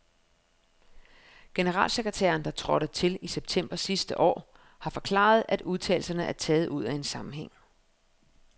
Generalsekretæren, der trådte til i september sidste år, har forklaret, at udtalelserne er taget ud af en sammenhæng.